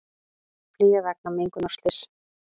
Flýja vegna mengunarslyss